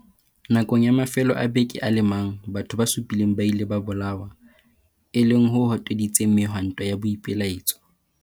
Nakong ya mafelo a beke a le mang, batho ba supileng ba ile ba bolawa, e leng ho hoteditseng mehwanto ya boipelaetso.